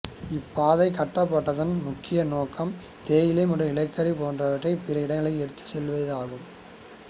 இப்பாதைக் கட்டப்பட்டதன் முக்கிய நோக்கம் தேயிலை மற்றும் நிலக்கரி போன்றவற்றைப் பிற இடங்களுக்கு எடுத்துச் செல்வதாகும்